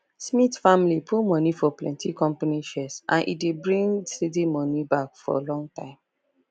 smith family put money for plenty company shares and e dey bring steady money back for long time